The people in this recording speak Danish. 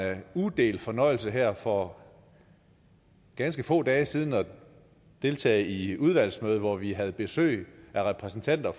udelt fornøjelse her for ganske få dage siden at deltage i et udvalgsmøde hvor vi havde besøg af repræsentanter